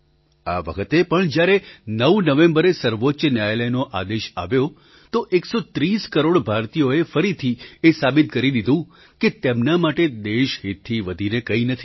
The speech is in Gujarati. આ વખતે પણ જ્યારે ૯ નવેમ્બરે સર્વોચ્ચ ન્યાયાલયનો આદેશ આવ્યો તો ૧૩૦ કરોડ ભારતીયોએ ફરીથી એ સાબિત કરી દીધું કે તેમના માટે દેશહિતથી વધીને કંઈ નથી